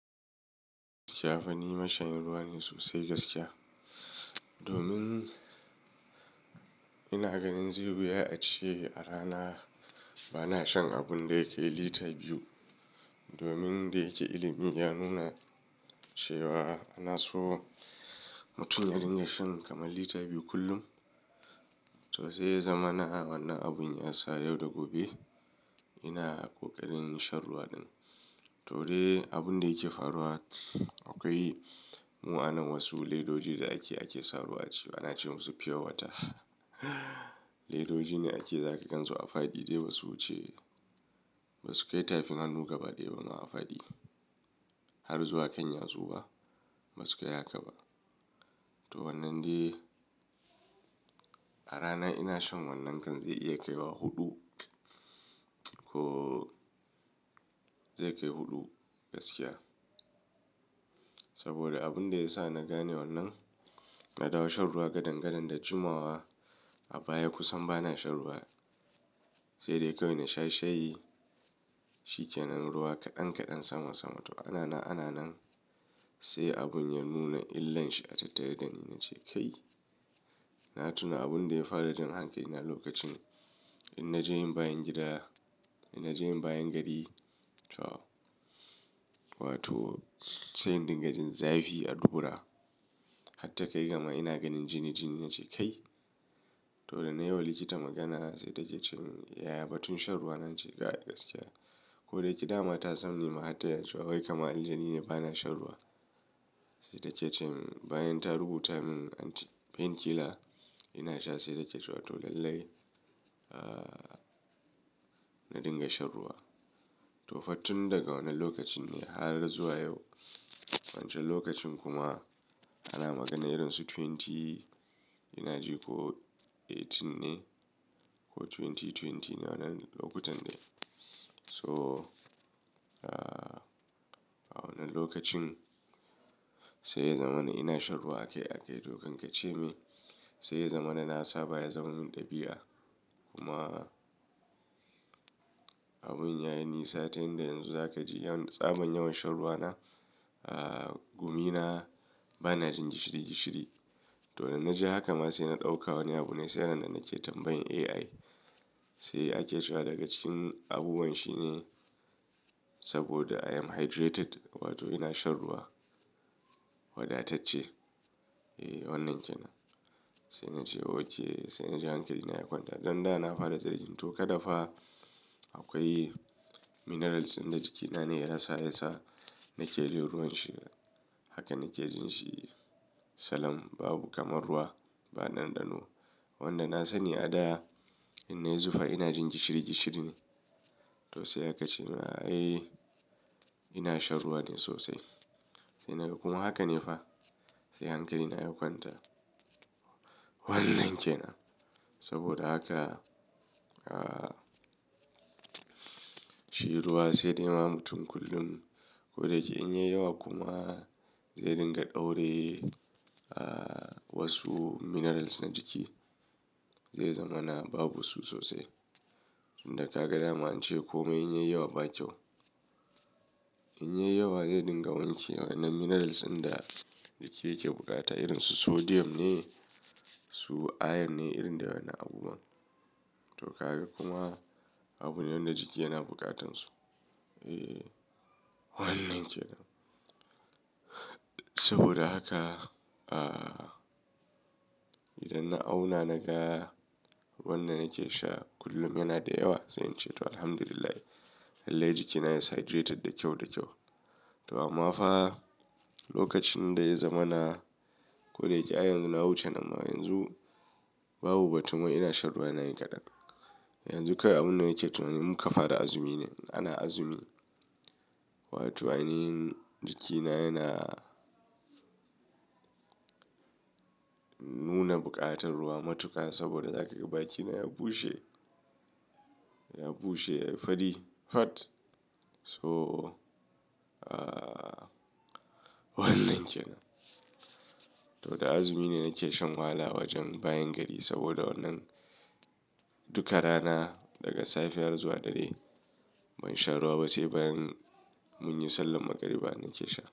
Gaskiya fa ni mashayin ruwa ne sosai gaskiya. Domin ina ganin zai yi wuya ace arana bana shan abun da yakai lita biyu. Domin dayake ilimi ya nuna cewa anaso mutum yadinga shan kamar lita biyu kullum. To sai ya zamana wannan abun ya sa yau da gobe ina ƙoƙarin shan ruwa ɗin. To dai abun da yake faruwa akwai mu'anan wasu ledoji da ake, ake sa ruwa aciki ana ce musu pure water. Ledoji ne ake saka kansu a faɗi dai ba su wuce ba su kai tafin hannu gaba ɗaya ba ma a faɗi. Har zuwa kan yatsu ma ba su kai haka ba. To wannan dai a rana ina shan wannan kan zai iya kaiwa huɗu ko zai kai huɗu gaskiya. Saboda abun da ya sa na gane wannan na dawo shan ruwa gadan gadan da jimawa a baya kusan bana shan ruwa. Sai dai kawai na sha shayi, shikenan ruwa kaɗan kaɗan sama sama. To ana na ana nan sai abun ya nuna illanshi a tattare dani na ce kai na tuna abun da ya fara jan hankali na lokacin. In na je yin bayan gida, in na je yin bayan gari to wato sai in dinga jin zafi a dubura. Hatta kai gama ina ganin jini jini na ce kai. To da na yi wa likita magana sai take cewa ya ya ba tun shan ruwa na ce kai gaskiya. Ko daya ke dama ta san ni ma har tana cewa wai kamar indai ni ne bana shan ruwa. Sai take cemin bayan ta rubuta min anti pain killer ina sha sai take cewa to lallai, aa na dinga shan ruwa. To fa tun daga wannan lokacin ne har zuwa yau wancan lokacin kuma ana magana irin su twenty ina ji ko eighteen ne ko twenty twenty ne wannan lokutan dai. So aa a wannan lokacin sai ya zamana ina shan ruwa akai akai to kan ka ce me. Sai ya zamana na saba ya zamar min ɗabi'a kuma abun ya yi nisa. Ta yanda yanzu za ka ji yawan tsabon yawan shan ruwa na aa gumi bana jin gishiri gishiri. To da na ji haka ma sai na ɗauka wani abu ne sai ran nan nake tambayan AI. Sai ake cewa daga cikin abubuwan shi ne saboda I am hydrated wato ina shan ruwa wadatacce. Eh wannan ke nan. Sai na ce oke sai na ji hankali na ya kwanta. Dan da na fara jin tsoro to kada fa akwai minerals ɗin ga jikina ne ya sa nake jin ruwan shi. Haka nake jin shi. Salam babu kamar ruwa ba ɗan ɗa no. Wanda na sani a da in na yi zufa ina jin gishiri gishiri ne. To sai aka ce min ai ina shan ruwa dai sosai. Sai naga kuma haka ne fa sai hankali na ya kwanta. Wannan ke nan saboda haka aa shi ruwa sai dayawa mutum kullum. Ko daya ke in ya yi yawa kuma zai dinga ɗaurye aa wasu minerals na jiki. Zai zamana babu su sosai. Tun kaga dama ance komai in ya yi yawa ba kyau. In ya yi yawa zai dinga wanke waƴannan minerals ɗin da jiki yake bukata irin su sodium ne su iron ne irin dai waƴannan abu buwan. To ka ga kuma abune wanda jiki yana buƙatansu. Eh wannan kenan. Saboda haka ah idan na auna naga ruwan da nake sha kullum yana da yawa zan ce to alhamdulillah lallai jikina yana hidireted da kyau da kyau. To amma fa lokacin da ya zamana ko dai yake i yanzu na wuce nan ma yanzu. Babu batun wai ina shan ruwa yana yin kaɗan. Yanzu kawai abun da nake tunanin in muka fara azumi ne ana azumi. Wato ainihin jikina yana. Nuna buƙatar ruwa matuƙa saboda zaka ga baki na ya bushe, ya bushe ya yi fari fat. So aa wannan ce na. To da azumi ne nake shan wahala wajen bayan gari saboda wannan duka rana daga safe har zuwa dare ban sha ruwa ba sai bayan mun yi sallan magariba nake sha.